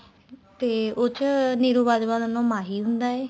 ਤੇ ਉਹ ਚ ਨਿਰੂ ਬਾਜਵਾ ਦਾ ਨਾਮ ਮਾਹੀ ਹੁੰਦਾ ਏ